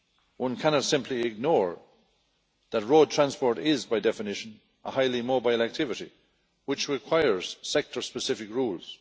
One cannot simply ignore the fact that road transport is by definition a highly mobile activity which requires sector specific rules.